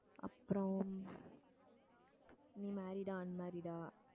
அப்புறம் நீ married ஆ unmarried ஆ